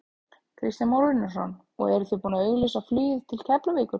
Kristján Már Unnarsson: Og þið eruð búinn að auglýsa flugið til Keflavíkur?